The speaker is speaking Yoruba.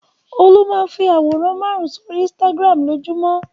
Olú máa ń fi àwòrán márùn-ún sórí Instagram lójúmọ́.